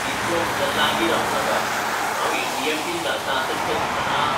इतलो म्हज्या लागीं रावूं नाका! हांव ए. टी. एम. पिन घालतां तें तुका दिसना?